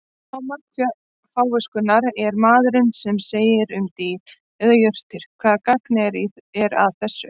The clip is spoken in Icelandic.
Hámark fáviskunnar er maðurinn sem segir um dýr eða jurtir: Hvaða gagn er að þessu?